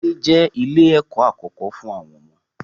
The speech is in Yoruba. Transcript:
Ìdílé je ilẹ̀ ẹ̀kọ́ àkókó fún àwọn ọmọ.